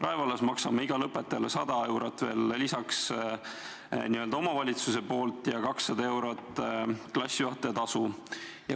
Rae vallas maksame igale õpetajale 100 eurot veel lisaks n-ö omavalitsuse poolt ja 200 eurot klassijuhatajatasu.